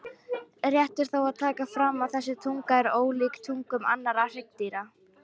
Rétt er þó að taka fram að þessi tunga er ólíkt tungum annarra hryggdýra.